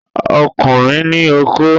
Ọkùnrin ní okó